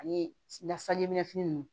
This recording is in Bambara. Ani nasa ɲɛmin ninnu